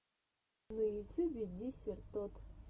на ютюбе десертод